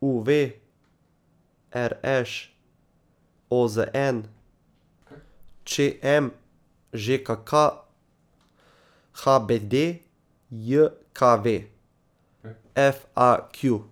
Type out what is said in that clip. U V; R Š; O Z N; Č M; Ž K K; H B D J K V; F A Q.